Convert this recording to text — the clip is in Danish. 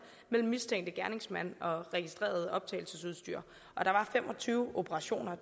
mellem mistænkte gerningsmænd og registreret optagelsesudstyr og der var fem og tyve operationer